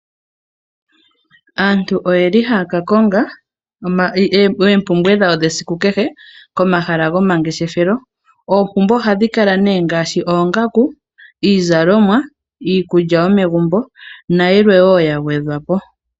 Aantu oye li haa ka konga eempumbwe dhawo dhesiku kehe komahala gomangeshefelo. Oompumbwe ohadhi kala nee ngaashi oongaku, iizalomwa, iikulya yomegumbo nayilwe wo ya gwedhwa po.